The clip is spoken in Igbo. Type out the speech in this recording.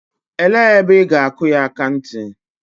Elee ebe ị ga-akụ ya akanti?